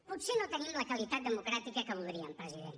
potser no tenim la qualitat democràtica que voldríem president